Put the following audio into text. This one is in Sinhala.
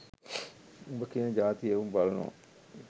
උඹ කියන ජාතියෙ එවුන් බලනව